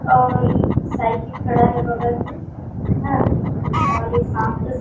और साइकिल खड़ा है बगल में ह और ये शाम का--